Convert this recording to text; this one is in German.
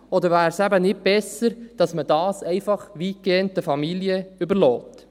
Wäre es eben nicht besser, dass man dies einfach weitgehend den Familien überlässt?